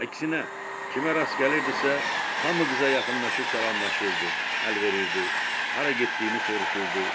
Əksinə, kimə rast gəlirdisə, hamı qıza yaxınlaşıb salamlaşırdı, əl verirdi, hara getdiyini soruşurdu.